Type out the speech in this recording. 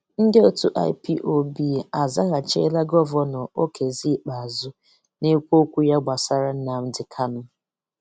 Ndị otu IPOB azaghachila Gọvanọ Okezie Ikpeazu na-ekwu okwu ya gbasara Nnamdi Kanu